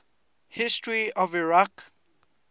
history of iraq